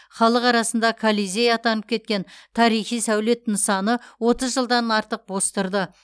халық арасында колизей атанып кеткен тарихи сәулет нысаны отыз жылдан артық бос тұрды